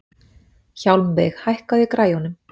Hjálmveig, hækkaðu í græjunum.